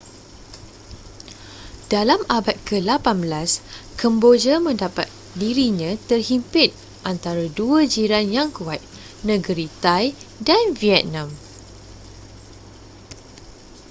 dalam abad ke-18 kemboja mendapat dirinya terhimpit antara dua jiran yang kuat negeri thai dan vietnam